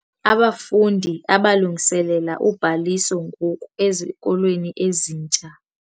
Abafundi abalungiselela ubhaliso ngoku ezikolweni ezintsha.